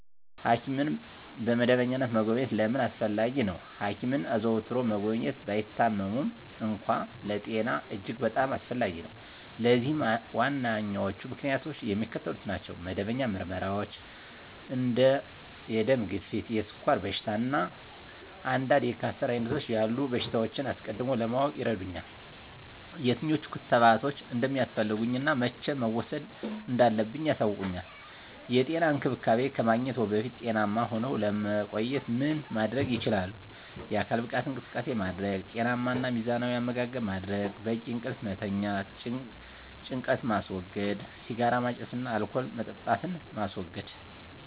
ሐኪምን በመደበኛነት መጎብኘት ለምን አስፈለጊ ነው? ሐኪምን አዘውትሮ መጎብኘት፣ ባይታመሙም እንኳ፣ ለጤና እጅግ በጣም አስፈላጊ ነው። ለዚህም ዋነኞቹ ምክንያቶች የሚከተሉት ናቸው። መደበኛ ምርመራዎች እንደ የደም ግፊት፣ የስኳር በሽታ፣ እና አንዳንድ የካንሰር ዓይነቶች ያሉ በሽታዎችን አስቀድሞ ለማወቅ ይረዱኛል። የትኞቹ ክትባቶች እንደሚያስፈልጉኝ እና መቼ መውሰድ እንዳለብኝ ያሳውቁኛል። *የጤና እንክብካቤ ከማግኘትዎ በፊት ጤናማ ሁነው ለመቆየት ምን ማድረግ ይችላሉ?*የአካል ብቃት እንቅስቃሴ ማድረግ * ጤናማ እና ሚዛናዊ አመጋገብ ማድረግ: * በቂ እንቅልፍ መተኛት * ጭንቀትን ማስወገድ * ሲጋራ ማጨስን እና አልኮል መጠጣትን ማስወገድ: